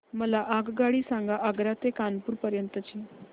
मला आगगाडी सांगा आग्रा ते कानपुर पर्यंत च्या